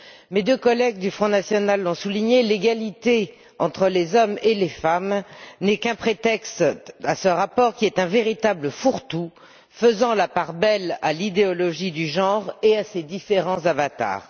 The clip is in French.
Ainsi que mes deux collègues du Front national l'ont souligné, l'égalité entre les hommes et les femmes n'est qu'un prétexte à ce rapport, qui est un véritable fourre tout et fait la part belle à l'idéologie du genre et à ses différents avatars.